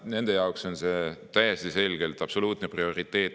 Nende jaoks on see täiesti selgelt prioriteet.